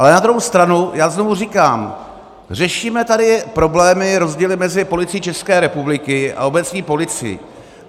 Ale na druhou stranu já znovu říkám - řešíme tady problémy, rozdíly mezi Policií České republiky a obecní policií.